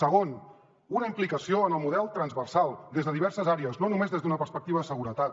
segon una implicació en el model transversal des de diverses àrees no només des d’una perspectiva de seguretat